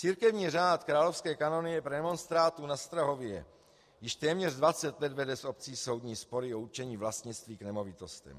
Církevní řád Královské kanonie premonstrátů na Strahově již téměř 20 let vede s obcí soudní spory o určení vlastnictví k nemovitostem.